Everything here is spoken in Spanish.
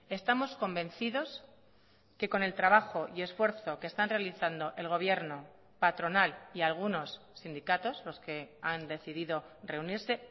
estamos convencidos que con el trabajo y esfuerzo que están realizando el gobierno patronal y algunos sindicatos los que han decidido reunirse